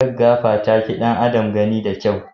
Gaggafa ta fi ɗan adam gani de kyau.